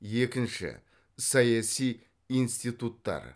екінші саяси институттар